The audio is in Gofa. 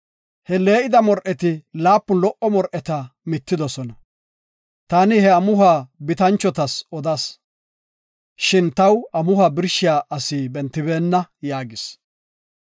He lee7ida mor7eti laapun lo77o mor7eta midosona. Taani ha amuhuwa bitanchotas odas, shin taw amuhuwa birshiya asi bentibeenna” yaagis.